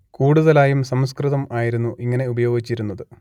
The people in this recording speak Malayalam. കൂടുതലായും സംസ്കൃതം ആയിരുന്നു ഇങ്ങനെ ഉപയോഗിച്ചിരുന്നത്